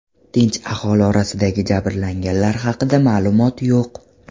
Tinch aholi orasidagi jabrlanganlar haqida ma’lumot yo‘q.